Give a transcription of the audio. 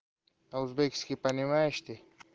по узбекски понимаешь ты